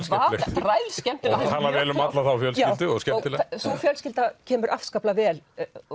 þrælskemmtileg hún talar vel um þá fjölskyldu og skemmtilega sú fjölskylda kemur afskaplega vel